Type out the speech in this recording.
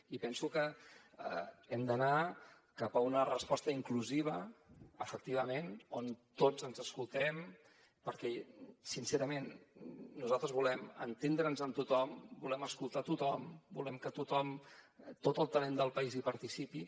i penso que hem d’anar cap a una resposta inclusiva efectivament on tots ens escoltem perquè sincerament nosaltres volem entendre’ns amb tothom volem escoltar tothom volem que tot el talent del país hi participi